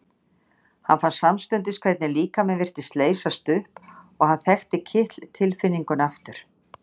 Hann fann samstundis hvernig líkaminn virtist leysast upp og hann þekkti kitl tilfinninguna aftur.